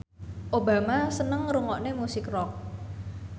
Obama seneng ngrungokne musik rock